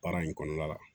Baara in kɔnɔna la